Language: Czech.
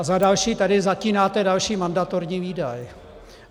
A za další - tady zatínáte další mandatorní výdaj.